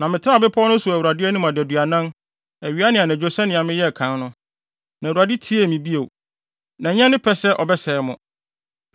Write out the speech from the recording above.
Na metenaa bepɔw no so wɔ Awurade anim adaduanan, awia ne anadwo sɛnea meyɛɛ kan no. Na Awurade tiee me bio. Na ɛnyɛ ne pɛ sɛ ɔbɛsɛe mo.